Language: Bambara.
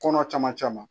Kɔnɔ caman